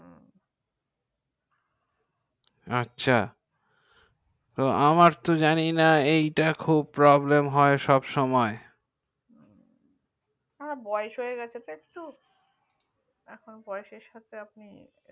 আচ্ছা আমার তো জানি না এই টা খুব প্রব্লেম হয় সবসুমাই হা বয়েস হয়ে গাছে তো একটু বয়েস এর সময়